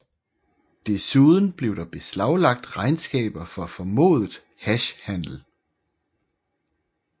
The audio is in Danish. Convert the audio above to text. Desuden blev der beslaglagt regnskaber for formodet hashhandel